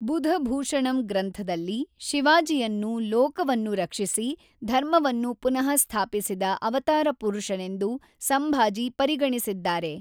ಬುಧಭೂಷಣಮ್‌ ಗ್ರಂಥದಲ್ಲಿ, ಶಿವಾಜಿಯನ್ನು ಲೋಕವನ್ನು ರಕ್ಷಿಸಿ, ಧರ್ಮವನ್ನು ಪುನಃಸ್ಥಾಪಿಸಿದ ಅವತಾರಪುರುಷನೆಂದು ಸಂಭಾಜಿ ಪರಿಗಣಿಸಿದ್ದಾರೆ.